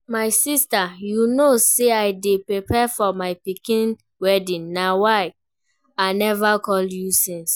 My sister you no say I dey prepare for my pikin wedding na why I never call you since